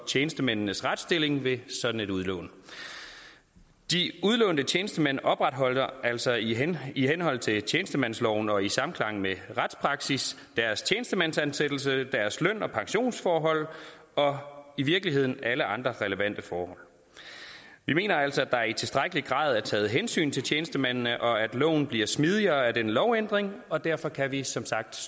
tjenestemændenes retsstilling ved sådan et udlån de udlånte tjenestemænd opretholder altså i henhold i henhold til tjenestemandsloven og i samklang med retspraksis deres tjenestemandsansættelse deres løn og pensionsforhold og i virkeligheden alle andre relevante forhold vi mener altså at der i tilstrækkelig grad er taget hensyn til tjenestemændene og at loven bliver smidigere af denne lovændring og derfor kan vi som sagt